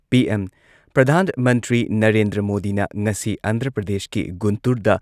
PM. ꯄ꯭ꯔꯙꯥꯟ ꯃꯟꯇ꯭ꯔꯤ ꯅꯔꯦꯟꯗ꯭ꯔ ꯃꯣꯗꯤꯅ ꯉꯁꯤ ꯑꯟꯙ꯭ꯔ ꯄ꯭ꯔꯗꯦꯁꯀꯤ ꯒꯨꯟꯇꯨꯔꯗ